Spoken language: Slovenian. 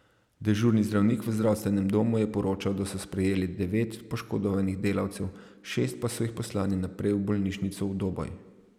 Dežurni zdravnik v zdravstvenem domu je poročal, da so sprejeli devet poškodovanih delavcev, šest pa so jih poslali naprej v bolnišnico v Doboj.